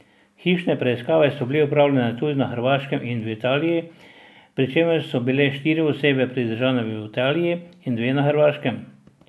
Hišne preiskave so bile opravljene tudi na Hrvaškem in v Italiji, pri čemer so bile štiri osebe pridržane v Italiji in dve na Hrvaškem.